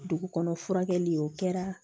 Dugu kɔnɔ furakɛli o kɛra